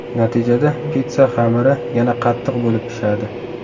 Natijada pitssa xamiri yana qattiq bo‘lib pishadi.